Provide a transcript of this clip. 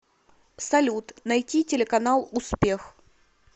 салют найти телеканал успех